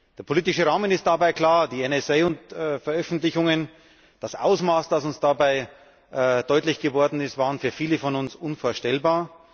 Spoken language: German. Der politische Rahmen ist dabei klar Die NSA Veröffentlichungen, das Ausmaß, das uns dabei deutlich geworden ist, waren für viele von uns unvorstellbar.